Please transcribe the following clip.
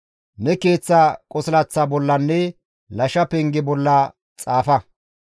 Ne keeththa qosilaththa bollanne gibbe penge bolla xaafa.